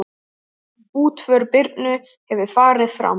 Útför Birnu hefur farið fram.